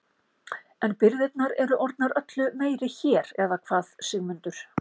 En birgðirnar eru orðnar öllu meiri hér eða hvað Sigmundur?